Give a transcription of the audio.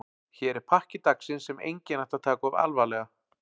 Hér er pakki dagsins sem enginn ætti að taka of alvarlega.